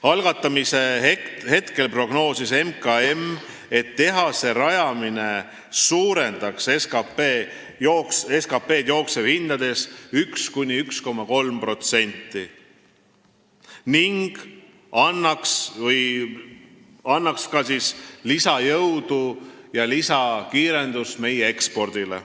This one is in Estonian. Algatamise hetkel prognoosis MKM, et tehase rajamine suurendaks SKT-d jooksvates hindades 1–1,3% ning annaks lisajõudu ja lisakiirendust meie ekspordile.